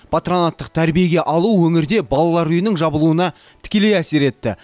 патронаттық тәрбиеге алу өңірде балалар үйінің жабылуына тікелей әсер етті